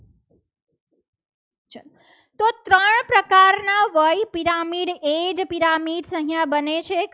વય pyramid એ જ pyramid અહીં બને છે.